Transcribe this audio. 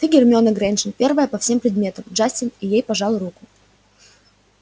ты гермиона грэйнджер первая по всем предметам джастин и ей пожал руку